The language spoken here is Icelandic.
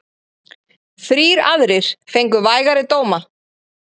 Þrír aðrir fengu vægari dóma.